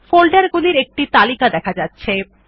folder গুলি একটি তালিকা দেখা যাচ্ছে